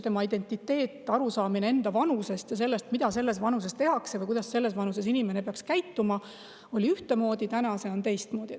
Inimese identiteet ning arusaamine enda vanusest ja sellest, mida selles vanuses tehakse või kuidas selles vanuses inimene peaks käituma, oli ühtemoodi, täna see on teistmoodi.